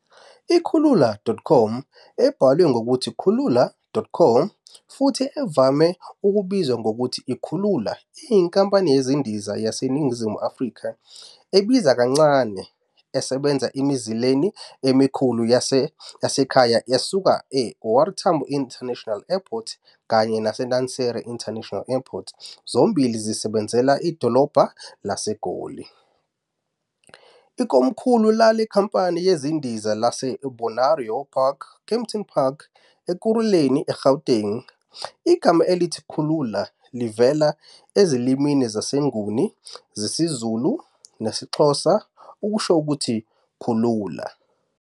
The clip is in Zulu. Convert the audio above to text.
I-Kulula.com, ebhalwe ngokuthi kulula.com, futhi evame ukubizwa ngokuthi i- Kulula iyinkampani yezindiza yaseNingizimu Afrika ebiza kancane, esebenza emizileni emikhulu yasekhaya esuka e - OR Tambo International Airport kanye nase Lanseria International Airport, zombili zisebenzela idolobha laseGoli. Ikomkhulu lale nkampani yezindiza liseBonaero Park, Kempton Park, Ekurhuleni, eGauteng. Igama elithi 'Kulula' livela ezilimini zesiNguni zesiZulu nesiXhosa, okusho ukuthi "Kulula."